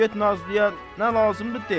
Get Nazlıya, nə lazımdır de.